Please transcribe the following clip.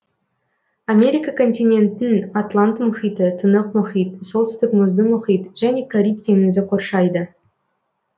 америка континентін атлант мұхиты тынық мұхит солтүстік мұзды мұхит және кариб теңізі қоршайды